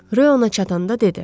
Ryo ona çatanda dedi.